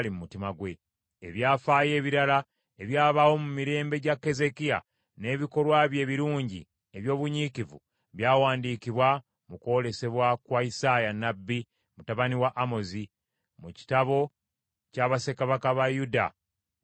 Ebyafaayo ebirala ebyabaawo mu mirembe gya Keezeekiya, n’ebikolwa bye ebirungi eby’obunyiikivu, byawandiikibwa mu kwolesebwa kwa Isaaya nnabbi mutabani wa Amozi, mu kitabo kya bassekabaka ba Yuda ne Isirayiri.